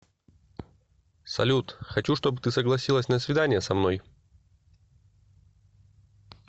салют хочу чтобы ты согласилась на свидание со мной